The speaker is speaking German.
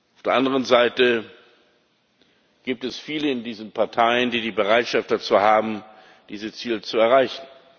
Auf der anderen Seite gibt es viele in diesen Parteien, die die Bereitschaft dazu haben, diese Ziele zu erreichen.